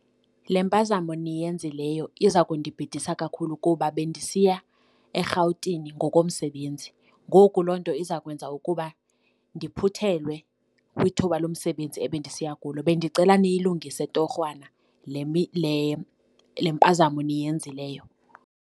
Le mpazamo niyenzileyo iza kundibhidisa kakhulu kuba bendisiya eRhawutini ngokomsebenzi. Ngoku loo nto izawukwenza ukuba ndiphuthelwe kwithuba lomsebenzi abendisiya kulo. Bendicela niyilungise torhwana le mpazamo niyenzileyo.